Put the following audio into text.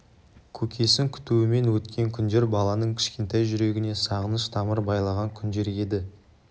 көкесін күтумен өткен күндер баланың кішкентай жүрегіне сағыныш тамыр байлаған күндер еді